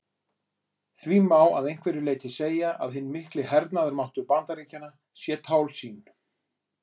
Því má að einhverju leyti segja að hinn mikli hernaðarmáttur Bandaríkjanna sé tálsýn.